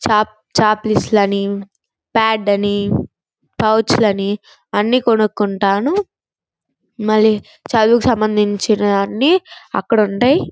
Check చక్పిఎస్ లని pad అని పౌచ్ లని అన్ని కొనుకుంటాను మల్లి చదువుకు సంబంధినవన్నీ అక్కడుంటాయి.